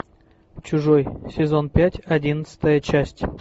чужой сезон пять одиннадцатая часть